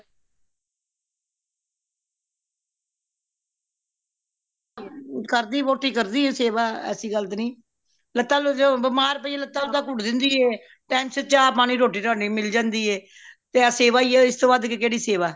ਕਰਦੀ ਵੋਟੀ ਕਰਦੀ ਹੈ ਸੇਵਾ ਐਸੀ ਗੱਲ ਤੇ ਨਹੀਂ ਲਤਾ ਬਿਮਾਰ ਪਈਏ ਲਤਾ ਲੁਤਾ ਕੁਟ ਦੇਂਦੀ ਏ time ਸਿਰ ਚਾਹ ਪਾਣੀ ਰੋਟੀ ਰਾਟੀ ਮਿਲ ਜਾਂਦੀ ਏ ਤੇ ਏਹ ਸੇਵਾ ਹੀ ਹੈ ਤੇ ਐਸ਼ ਤੋਂ ਵੱਧ ਕੈਡੀ ਸੇਵਾ